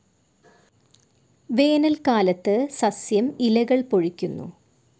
വേനൽക്കാലത്തു സസ്യം ഇലകൾ പൊഴിക്കുന്നു.